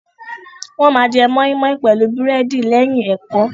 Wọ́n ma jẹ mọ́ímọ́í pẹ̀lú búrẹ́dì lẹ́yìn ẹ̀kọ́.